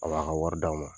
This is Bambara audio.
A b'a ka wari d'a ma